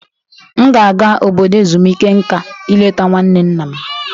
M ga-aga obodo ezumike nka ileta nwanne nna m